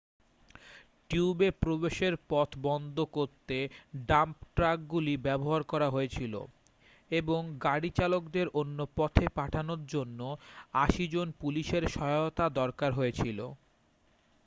টিউবে প্রবেশের পথ বন্ধ করতে ডাম্প ট্রাকগুলি ব্যবহার করা হয়েছিল এবং গাড়ি চালকদের অন্য পথে পাঠানোর জন্য 80 জন পুলিশের সহায়তা দরকার হয়েছিল